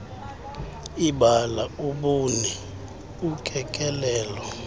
ibala ubuni ukekelelo